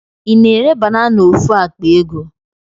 I na-ere banana ofu akpa ego?